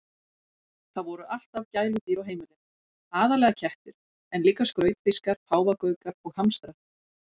Það voru alltaf gæludýr á heimilinu, aðallega kettir en líka skrautfiskar, páfagaukar og hamstrar.